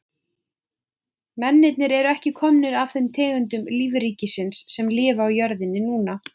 Mennirnir eru ekki komnir af þeim tegundum lífríkisins sem lifa á jörðinni núna.